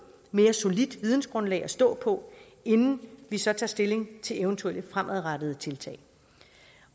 mere solidt vidensgrundlag at stå på inden vi så tager stilling til eventuelle fremadrettede tiltag